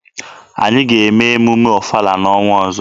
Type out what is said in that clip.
Anyị ga-eme emume ọfala n'ọnwa ọzọ.